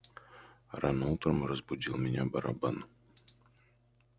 рано утром разбудил меня барабан